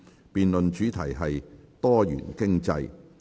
辯論主題是"多元經濟"。